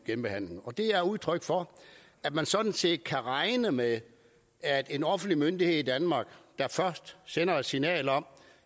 genbehandling det er udtryk for at man sådan set kan regne med at en offentlig myndighed i danmark der sender et signal om